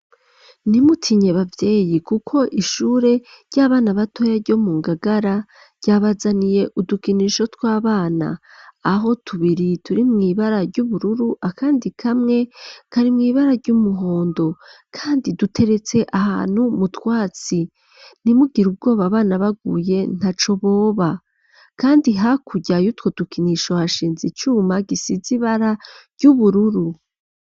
Ntimutinye bavyeyi, kuko ishure ry'abana batoya ryo mu ngagara ryabazaniye udukinisho tw'abana aho tubiri turi mw'ibara ry'ubururu akandi kamwe kari mw'ibara ry'umuhondo, kandi duteretse ahantu mutwatsi ntimugire ubwoba bana baguye nta co boba, kandi hakuryayeutwo dukinisha hashinza icuma gisiza ibara ry'ubururu.